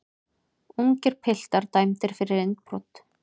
Ungir piltar dæmdir fyrir innbrot